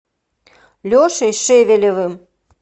лешей шевелевым